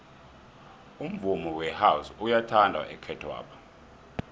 umvumo wehouse uyathandwa ekhethwapha